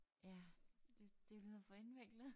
Ja det det lyder for indviklet